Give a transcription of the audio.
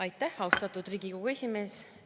Aitäh, austatud Riigikogu esimees!